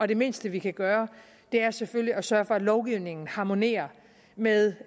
det mindste vi kan gøre er selvfølgelig at sørge for at lovgivningen harmonerer med